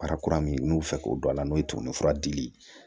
min bɛ fɛ k'o don a la n'o ye tumunifura dili ye